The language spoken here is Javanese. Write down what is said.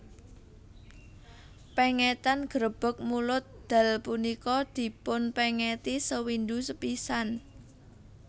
Pengetan Garebeg Mulud Dal punika dipun pengeti sewindu sepisan